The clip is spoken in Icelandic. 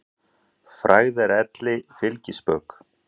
Frægð er elli fylgispök.